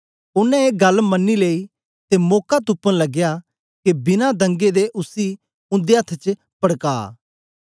ओनें ए गल्ल मनी लेई ते मौका तुपन लगया के बिना दंगे दे उसी उन्दे अथ्थ च पड़का